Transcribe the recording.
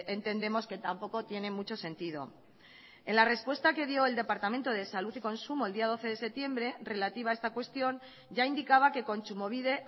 entendemos que tampoco tiene mucho sentido en la respuesta que dio el departamento de salud y consumo el día doce de septiembre relativa a esta cuestión ya indicaba que kontsumobide